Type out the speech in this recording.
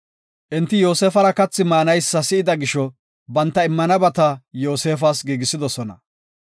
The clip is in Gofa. Enti Yoosefara kathi maanaysa si7ida gisho banta immanabata Yoosefas giigisidosona.